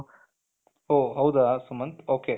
ಒಹ್ ಹೌದ ಸುಮಂತ್ ok